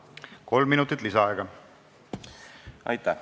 Kolm minutit lisaaega.